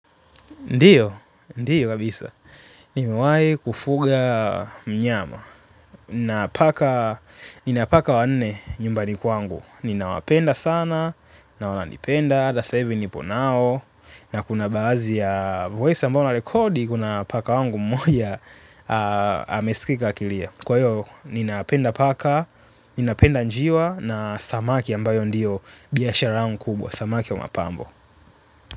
Ndiyo, ndiyo kabisa. Nimewahi kufuga mnyama. Nina paka wanne nyumbani kwangu. Ninawapenda sana, na wananipenda, na sahivi niponao. Na kuna bahadhi ya voice ambayo ninarecordi, kuna paka wangu mmoja amesikika akilia. Kwahio, ninapenda paka, ninapenda njiwa na samaki ambayo ndiyo bihashara yangu kubwa, samaki wa mapambo.